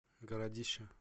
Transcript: городище